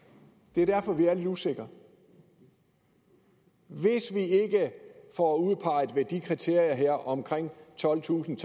det er derfor vi er lidt usikre hvis vi ikke får udpeget hvad der kriterier om tolvtusinde